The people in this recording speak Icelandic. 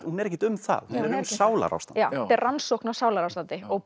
hún er ekkert um það hún er um sálarástand já þetta er rannsókn á sálarástandi og